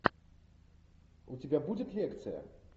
у тебя будет лекция